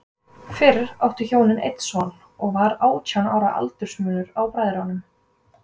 Fyrir áttu hjónin einn son, og var átján ára aldursmunur á bræðrunum.